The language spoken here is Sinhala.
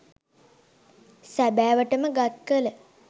සැබෑවට ම ගත් කළ